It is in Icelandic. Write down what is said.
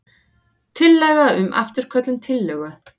Tillaga um afturköllun tillögu.